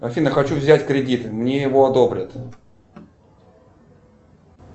афина хочу взять кредит мне его одобрят